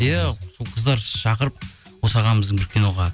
иә сол қыздар шақырып осы ағамыздың бір киноға